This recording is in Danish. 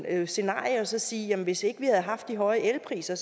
andet scenarie og så sige jamen hvis ikke vi havde haft de høje elpriser